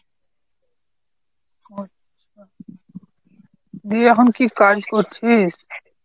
ও আচ্ছা। দিয়ে এখন কী কাজ করছিস?